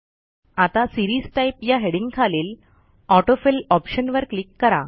आता series type या हेडिंगखालील ऑटो फिल Optionवर क्लिक करा